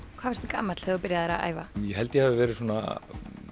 gamall þegar þú byrjaðir að æfa ég held að ég hafi verið svona